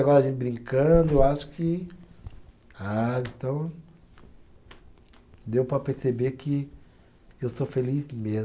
Agora a gente brincando, eu acho que. Ah, então. Deu para perceber que eu sou feliz mesmo.